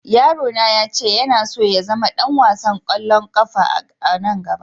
Yaro na ya ce yana so ya zama dan wasan kwallon kafa a'ranan gaba.